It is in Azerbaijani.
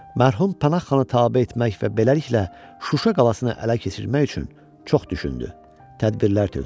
Mərhum Pənah xana tabe etmək və beləliklə Şuşa qalasını ələ keçirmək üçün çox düşündü, tədbirlər tökdü.